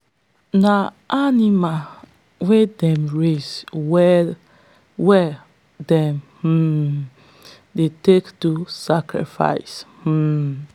na animal wey them raise well them um dey take do sacrifice. um